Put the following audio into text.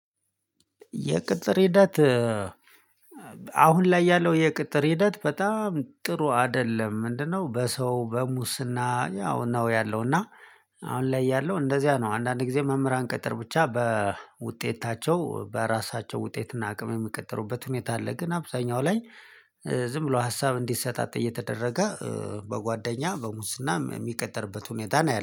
የቅጥር ሂደት አሁን ላይ ያለው የቅጥር ሂደት በጣም ጥሩ አይደለም። ምንድነው በሰው በሙስና ያው ነው ያለው እና አሁን ላይ ያለው እንደዚያ ነው። አንዳንድ ጊዜ መምህራን ቅጥር ብቻ በውጤታቸው በራሳቸው ውጤት እና አቅም የሚቀጠሩበት ሁኔታ አለ ግን አብዛኛው ላይ ዝም ብሎ ሀሳብ እንዲሰጣጥ እየተደረገ በጓደኛ በሙስና የሚቀጥርበት ሁኔታ ነው